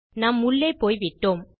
நாம் உள்ளே போய்விட்டோம்